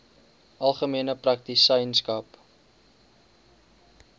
algemene praktisyns aps